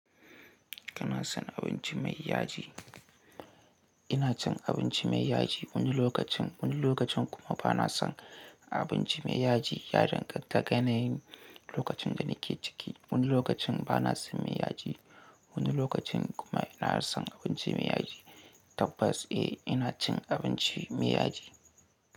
Kana son abinci mai yaji? Ina cin abinci mai yaji wani lokacin, wani lokacin kuma bana son abinci mai yaji. Yana danganta ga yanayin lokacin da nake ciki. Wani lokacin bana son mai yaji, wani lokacin kuma ina son abinci mai yaji. Tabbas, eh, ina cin abinci mai yaji.